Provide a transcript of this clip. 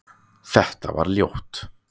Þetta var ljótt